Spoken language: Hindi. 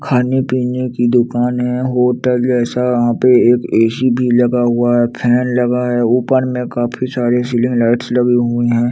खाने पीने की दुकान है होटल जैसा वहाँ पे एक ए_सी भी लगा हुआ है फैन लगा हुआ है ऊपर में काफ़ी सारी सीलिंग लाइट्स भी लगी हुई हैं।